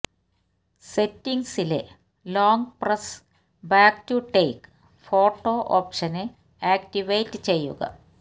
സെറ്റിങ്സിലെ long press back to take photo ഓപ്ഷന് activate ചെയ്യുക